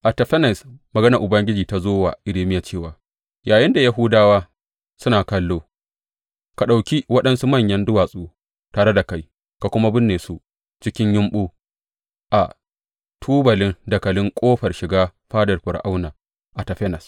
A Tafanes maganar Ubangiji ta zo wa Irmiya cewa, Yayinda Yahudawa suna kallo, ka ɗauki waɗansu manyan duwatsu tare da kai ka kuma binne su cikin yumɓu a tubalin dakalin ƙofar shiga fadar Fir’auna a Tafanes.